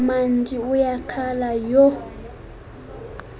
mandi uyakhala yho